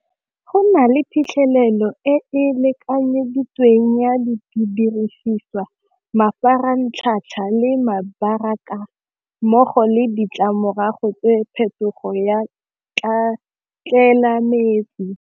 Go na le phitlhelelo e e lekanyeditsweng ya dirisiswa mafaratlhatlha le mmogo le ditlamorago tse phetogo ya tlelaemete.